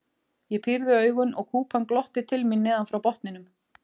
Ég pírði augun og kúpan glotti til mín neðan frá botninum.